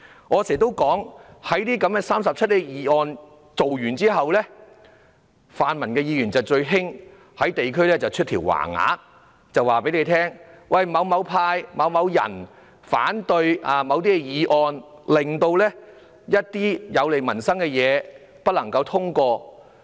而泛民議員在提出這些第 37A 段議案後，會經常在他們的選區掛起橫額，指某黨派或某議員反對某些議案，而令一些有利民生的項目不獲通過。